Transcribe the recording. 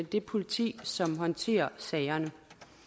det politi som håndterer sagerne